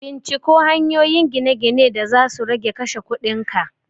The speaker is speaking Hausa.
Binciko hanyoyin gine-gine da zasu rage kashe kudin ka!